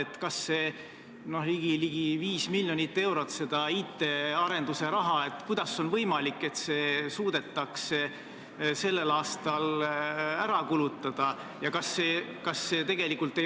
Kuidas on võimalik, et see ligi 5 miljonit eurot IT arenduse raha suudetakse sellel aastal ära kulutada?